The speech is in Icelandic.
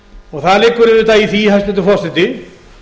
og það liggur auðvitað í því hæstvirtur forseti